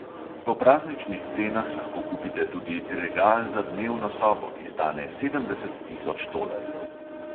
Po prazničnih cenah lahko kupite tudi regal za dnevno sobo, ki stane sedemdeset tisoč tolarjev.